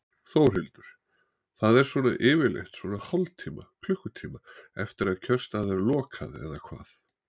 Þórhildur: Það er svona yfirleitt svona hálftíma, klukkutíma eftir að kjörstað er lokað eða hvað?